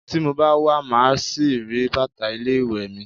Tí mo bá wa, màá ṣì rí bàtà ilé ìwé mi.